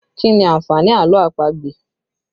Kí ni àǹfààní àlọ́ àpagbè?